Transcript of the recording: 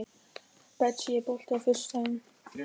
Betsý, er bolti á föstudaginn?